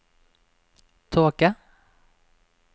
tåke